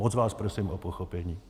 Moc vás prosím o pochopení.